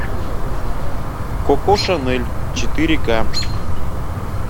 коко шанель четыре ка